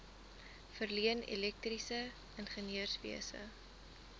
verleen elektriese ingenieurswese